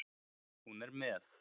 Hún er með